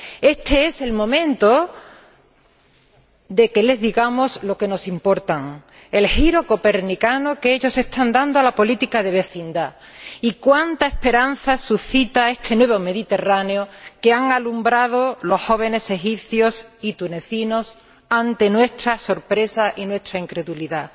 Éste es el momento de que les digamos cuánto nos importan, el giro copernicano que ellos están dando a la política de vecindad y cuánta esperanza suscita este nuevo Mediterráneo que han alumbrado los jóvenes egipcios y tunecinos ante nuestra sorpresa e incredulidad.